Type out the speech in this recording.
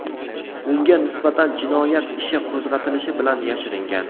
Unga nisbatan jinoyat ishi qo‘zg‘atilishi bilan yashiringan.